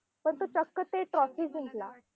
तो तर चक्क ते trophy जिंकला.